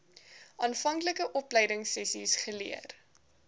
aanvanklike opleidingsessies geleer